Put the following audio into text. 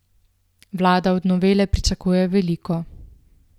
Vlada od novele pričakuje veliko.